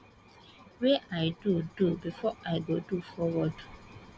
wey i do do before i go do forward